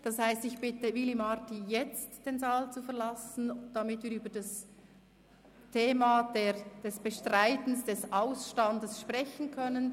Das heisst, ich bitte Willy Marti jetzt, den Saal zu verlassen, damit wir über das Thema des Bestreitens des Ausstands sprechen können.